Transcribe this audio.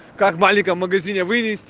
как маленьком магазине